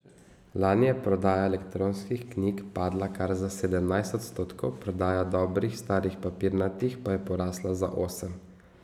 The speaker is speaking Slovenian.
Lani je prodaja elektronskih knjig padla kar za sedemnajst odstotkov, prodaja dobrih starih papirnatih pa je porasla za osem.